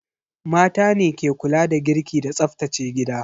Mata ne ke kula da girki da tsaftace gida.